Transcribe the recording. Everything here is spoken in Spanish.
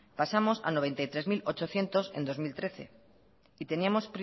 pasamos a noventa y tres mil ochocientos euros en dos mil trece y tenemos